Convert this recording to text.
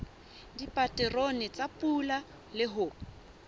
dipaterone tsa pula le ho